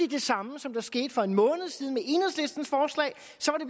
det samme som der skete for en måned siden